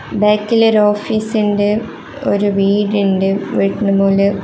ബാക്കില് ഒരു ഓഫീസിണ്ട് ഒരു വീടിണ്ട് വീടിൻറെ മോളില്--